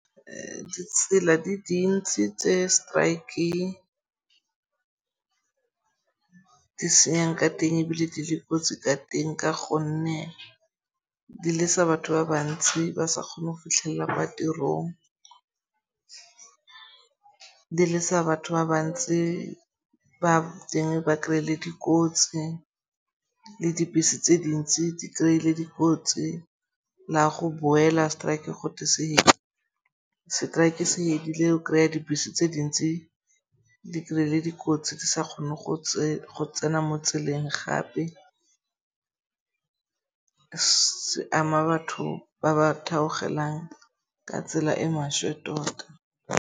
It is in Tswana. Ditsela di dintsi tse strike di senyang ka teng ebile di le kotsi ka teng ka gonne di lesa batho ba bantsi ba sa kgone go fitlhella kwa tirong. Di lesa batho ba bantsi ba teng ba kry-ile dikotsi le dibese tse dintsi di kry-ile le dikotsi. La go boela strike gote se setraeke se fedile o kry-a dibese tse dintsi di kry-ile dikotsi di sa kgone go tsena mo tseleng gape. Se ama batho ba ba theogelang ka tsela e maswe tota.